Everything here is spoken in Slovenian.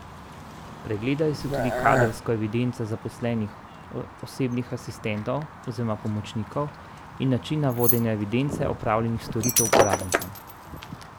Pregledali so tudi kadrovsko evidenco zaposlenih osebnih asistentov oziroma pomočnikov in načine vodenja evidence opravljenih storitev uporabnikom.